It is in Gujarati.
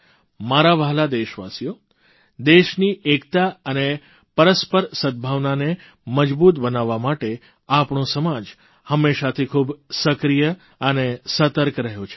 મારા વ્હાલા દેશવાસીઓ દેશની એકતા અને પરસ્પર સદભાવનાને મજબૂત બનાવવા માટે આપણો સમાજ હંમેશાથી ખૂબ સક્રિય અને સતર્ક રહ્યો છે